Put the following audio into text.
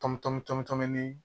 Tɔmi tɔmi tɔmi tɔmi